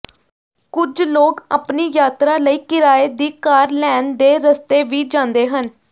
ਕੁਝ ਲੋਕ ਆਪਣੀ ਯਾਤਰਾ ਲਈ ਕਿਰਾਏ ਦੀ ਕਾਰ ਲੈਣ ਦੇ ਰਸਤੇ ਵੀ ਜਾਂਦੇ ਹਨ